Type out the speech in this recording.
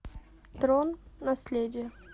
трон наследие